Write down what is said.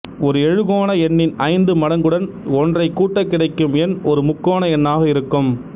ஒரு எழுகோண எண்ணின் ஐந்து மடங்குடன் ஒன்றைக் கூட்டக் கிடைக்கும் எண் ஒரு முக்கோண எண்ணாக இருக்கும்